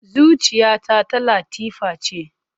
Zuciyata ta Latifa ce.